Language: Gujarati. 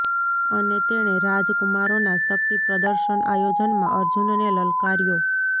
અને તેણે રાજ કુમારોના શક્તિ પ્રદર્શન આયોજનમાં અર્જુનને લલકાર્યો